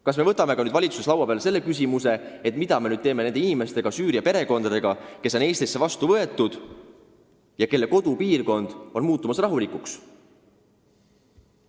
Kas me võtame peagi valitsuse laua peale küsimuse, mida me nüüd teeme nende Süüria perekondadega, kes on Eestisse vastu võetud ja kelle kodupiirkond on muutumas rahulikuks?